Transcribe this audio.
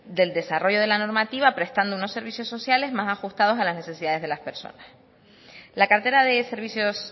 del desarrollo de la normativa prestando unos servicios sociales más ajustados a las necesidades de las personas la cartera de servicios